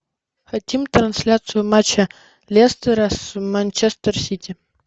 хотим трансляцию матча лестера с манчестер сити